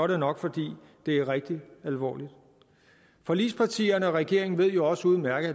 det nok fordi det er rigtig alvorligt forligspartierne og regeringen ved jo også udmærket